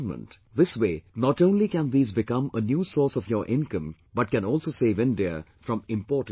This way, not only can these become a new source of your income, but can also save India from importing timber